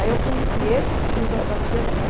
Aí eu conheci esse tio da da tia dele.